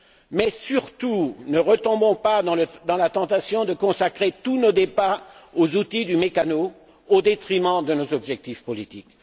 Mais surtout, ne retombons pas dans la tentation de consacrer tous nos débats aux outils du mécano, au détriment de nos objectifs politiques.